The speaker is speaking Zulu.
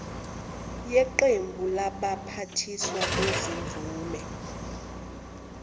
yeqembu labaphathiswa bezimvume